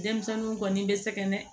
Denmisɛnninw kɔni bɛ sɛgɛn